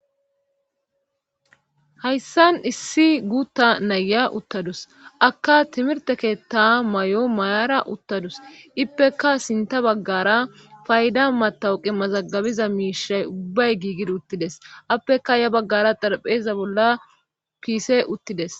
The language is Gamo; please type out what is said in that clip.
Hayssan issi guutta naya uttadus akka timirte keetta may7o mayara uttadus ippekka sinta baggara fayda matawu qimazagabiza miishay ubbay giigid uttides appeka ya baggara darpheza bolla piise uttides.